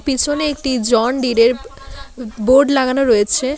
পেসোনে একটি জন ডিরের বোর্ড লাগানো রয়েছে।